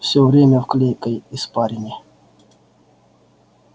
всё время в клейкой испарине